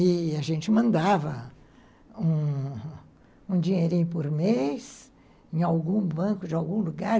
E a gente mandava um dinheirinho por mês em algum banco de algum lugar.